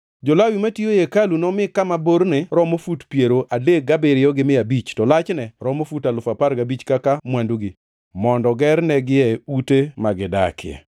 Jo-Lawi matiyo ei hekalu nomi kama borne romo fut alufu piero adek gabiriyo gi mia abich, to lachne romo fut alufu apar gabich kaka mwandugi, mondo gernigie ute ma gidakie.